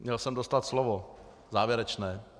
Měl jsem dostat slovo závěrečné.